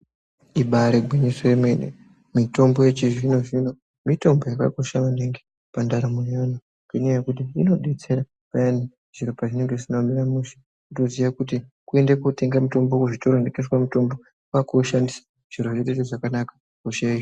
Ibaari gwinyiso yemene mitombo yechizvino-zvino mitombo yakakosha maningi pandaramo yeantu. Ngenyaya yekuti inodetsera payani zviro pazvinenge zvisina kumira mushe. Kutoziya kuti kutoende kootenga mutombo kuzvitoro zvinotengeswa mitombo kwaakuushandisa, zviro zvotoite zvakanaka, hosha yohi...